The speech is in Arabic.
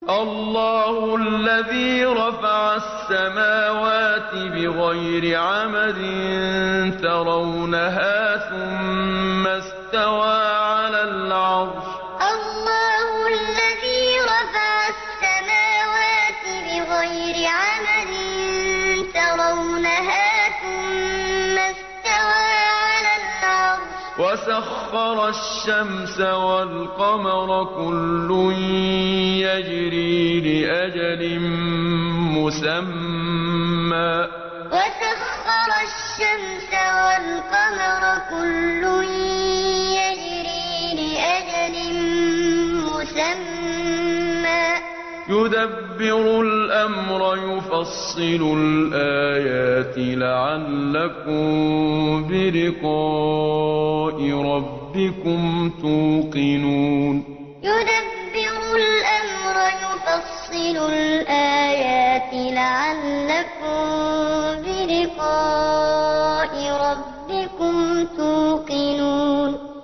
اللَّهُ الَّذِي رَفَعَ السَّمَاوَاتِ بِغَيْرِ عَمَدٍ تَرَوْنَهَا ۖ ثُمَّ اسْتَوَىٰ عَلَى الْعَرْشِ ۖ وَسَخَّرَ الشَّمْسَ وَالْقَمَرَ ۖ كُلٌّ يَجْرِي لِأَجَلٍ مُّسَمًّى ۚ يُدَبِّرُ الْأَمْرَ يُفَصِّلُ الْآيَاتِ لَعَلَّكُم بِلِقَاءِ رَبِّكُمْ تُوقِنُونَ اللَّهُ الَّذِي رَفَعَ السَّمَاوَاتِ بِغَيْرِ عَمَدٍ تَرَوْنَهَا ۖ ثُمَّ اسْتَوَىٰ عَلَى الْعَرْشِ ۖ وَسَخَّرَ الشَّمْسَ وَالْقَمَرَ ۖ كُلٌّ يَجْرِي لِأَجَلٍ مُّسَمًّى ۚ يُدَبِّرُ الْأَمْرَ يُفَصِّلُ الْآيَاتِ لَعَلَّكُم بِلِقَاءِ رَبِّكُمْ تُوقِنُونَ